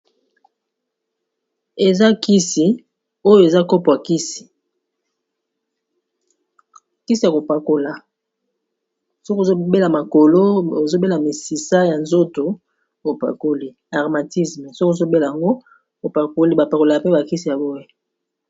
Eza kisi oyo eza kopo ya kisi kisi ya kopakola soko ozobela makolo ozobela misisa ya nzoto opakoli armatisme soko ozobela ngo opakoli bapakola pe bakisi ya boye